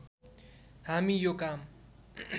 हामी यो काम